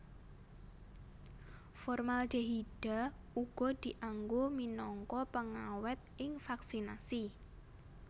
Formaldehida uga dianggo minangka pengawèt ing vaksinasi